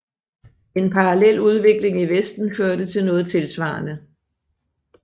En parallel udvikling i vesten førte til noget tilsvarende